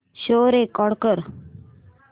show record कर